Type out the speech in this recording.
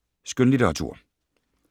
Skønlitteratur